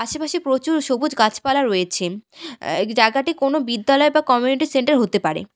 আশেপাশে প্রচুর সবুজ গাছপালা রয়েছে আ্য জাগাটি কোনও বিদ্যালয় বা কমিউনিটি সেন্টার হতে পারে।